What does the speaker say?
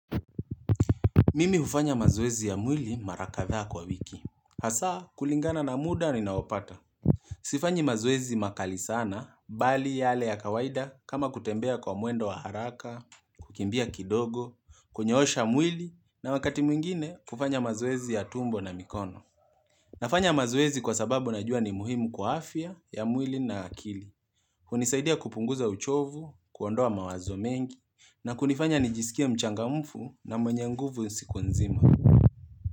Mimi hufanya mazoezi ya mwili marakatha kwa wiki. Hasaa kulingana na muda ni naopata. Sifanyi mazoezi makali sana, bali yale ya kawaida kama kutembea kwa muendo wa haraka, kukimbia kidogo, kunyeosha mwili, na wakati mwingine kufanya mazuwezi ya tumbo na mikono. Nafanya mazoezi kwa sababu najua ni muhimu kwa afya ya mwili na akili. Kunisaidia kupunguza uchovu, kuondoa mawazo mengi, na kunifanya nijisikia mchanga mfu na mwenye nguvu siku nzima.